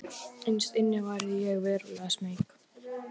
Innst inni var ég verulega smeyk.